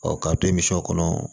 k'a to misiw kɔnɔ